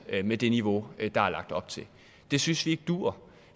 med det niveau der er lagt op til det synes vi ikke duer